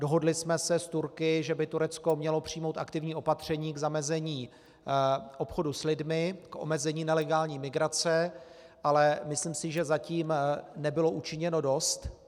Dohodli jsme se s Turky, že by Turecko mělo přijmout aktivní opatření k zamezení obchodu s lidmi, k omezení nelegální migrace, ale myslím si, že zatím nebylo učiněno dost.